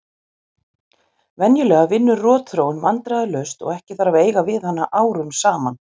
Venjulega vinnur rotþróin vandræðalaust og ekki þarf að eiga við hana árum saman.